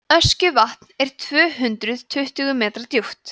öskjuvatn er tvö hundruð tuttugu metra djúpt